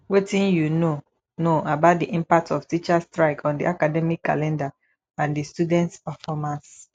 wetin you know know about di impact of teachers strike on di academic calendar and di students performance